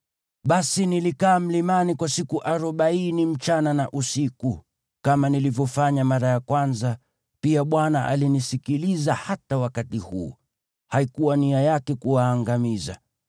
Basi nilikaa mlimani kwa siku arobaini usiku na mchana, kama nilivyofanya mara ya kwanza, pia Bwana alinisikiliza hata wakati huu. Haikuwa nia yake kuwaangamiza.